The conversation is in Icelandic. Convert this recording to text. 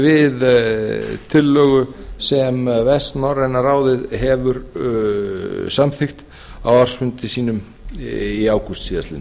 við tillögu sem vestnorræna ráðið hefur samþykkt á ársfundi sínum í ágúst síðastliðinn